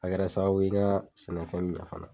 A kɛra sababu ye n ka sɛnɛfɛn ɲɛn fana